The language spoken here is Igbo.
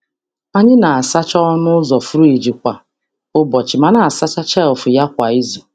Anyị na-asacha ọnụ ụzọ friji kwa ụbọchị ma na-asacha shelf ya kwa izu.